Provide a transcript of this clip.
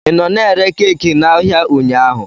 Ị nọ na-ere keeki n'ahịa ụnyaahụ?